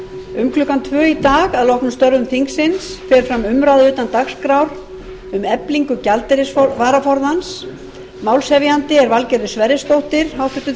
um klukkan tvö í dag að loknum umræðum um störf þingsins fer fram umræða utan dagskrár um eflingu gjaldeyrisvaraforðans málshefjandi er háttvirtur þingmaður valgerður sverrisdóttir